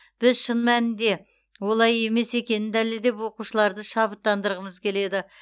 біз шын мәнінде олай емес екенін дәлелдеп оқушыларды шабыттандырғымыз келеді